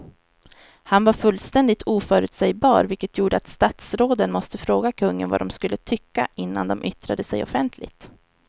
Han var fullständigt oförutsägbar vilket gjorde att statsråden måste fråga kungen vad de skulle tycka innan de yttrade sig offentligt.